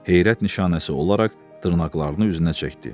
Heyrət nişanəsi olaraq dırnaqlarını üzünə çəkdi.